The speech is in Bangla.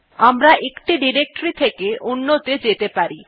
আমরা একটি ডিরেক্টরী থেকে অন্য ত়ে যেতে পারি